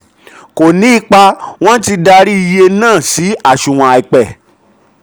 kò ní ipa wọ́n ti darí iye náà sí aṣunwon àìpẹ̀.